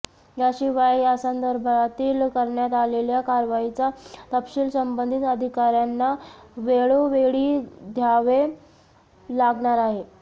याशिवाय यासंदर्भातील करण्यात आलेल्या कारवाईचा तपशील संबंधित अधिकार्यांना वेळोवेळी द्यावा लागणार आहे